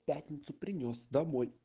пятницу принёс домой